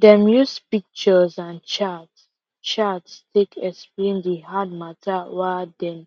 dem use pictures and charts charts take explain the hard matter wa dem